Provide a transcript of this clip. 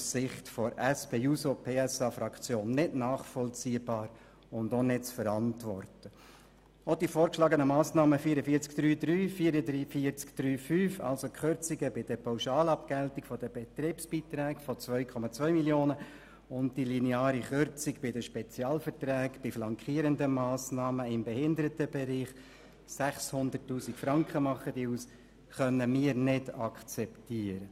Auch die vorgeschlagenen Massnahmen 44.3.3 und 44.3.5, nämlich die Kürzungen bei der Pauschalabgeltung der Betriebsbeiträge in der Höhe von 2,2 Mio. Franken und die lineare Kürzung bei den Spezialverträgen bei flankierenden Massnahmen im Behindertenbereich in der Höhe von 600 000 Franken können wir nicht akzeptieren.